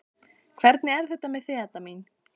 Hvernig er þetta með þig, Edda mín?